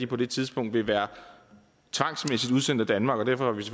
på det tidspunkt vil være tvangsmæssigt udsendt af danmark og derfor